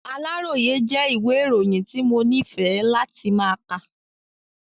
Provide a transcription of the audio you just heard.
Aláròyé jẹ́ ìwẹ́ ìròyìn tí mo nífẹ̀ẹ́ láti ma kà.